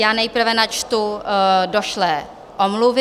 Já nejprve načtu došlé omluvy.